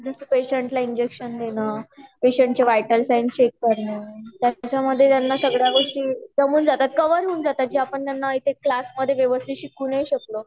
जस पेशंट ला इंजेक्शन देन पेशंट चे वाइटल साइन चेक करण त्याच्या मधे त्यांच्या सगळा गोष्टी जमून जात म्हणजे कवर होऊन जातात जे त्यांना क्लास मध्ये व्यवस्थित शिकवू नाही शकलों